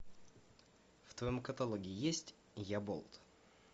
в твоем каталоге есть я болт